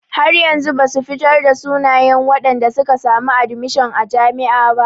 Har yanzu basu fitar da sunayen wadanda suka samu admishon a jami'a.